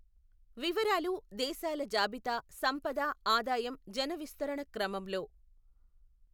వివరాలు దేశాల జాబితా సంపద ఆదాయం జన విస్తరణ క్రమంలో.